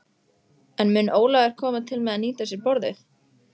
En mun Ólafur koma til með að nýta sér borðið?